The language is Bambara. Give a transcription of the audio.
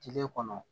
Kile kɔnɔ